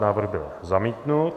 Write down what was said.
Návrh byl zamítnut.